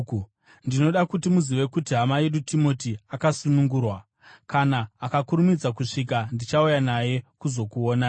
Ndinoda kuti muzive kuti hama yedu Timoti akasunungurwa. Kana akakurumidza kusvika, ndichauya naye kuzokuonai.